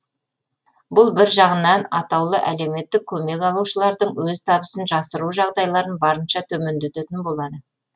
бұл бір жағынан атаулы әлеуметтік көмек алушылардың өз табысын жасыру жағдайларын барынша төмендететін болады